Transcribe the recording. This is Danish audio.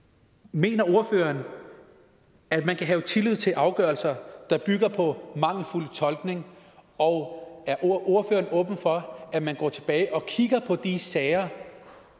mener ordføreren at man kan have tillid til afgørelser der bygger på mangelfuld tolkning og er ordføreren åben over for at man går tilbage og kigger på de sager